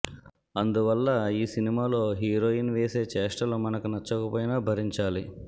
అందువల్ల యీ సినిమాలో హీరోయిన్ వేసే చేష్టలు మనకు నచ్చకపోయినా భరించాలి